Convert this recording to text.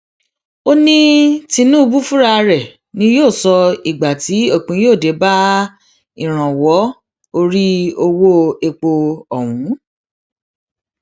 ó ní tinúbù fúnra rẹ ni yóò sọ ìgbà tí òpin yóò dé bá ìrànwọ orí owó epo ọhún